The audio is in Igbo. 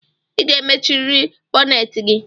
I ga-emechiriri bonneti gi!